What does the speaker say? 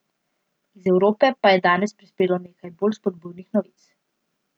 Iz Evrope pa je danes prispelo nekaj bolj spodbudnih novic.